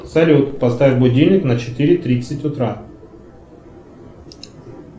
салют поставь будильник на четыре тридцать утра